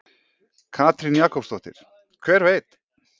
Katrín Jakobsdóttir: Hver veit?